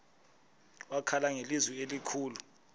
wakhala ngelizwi elikhulu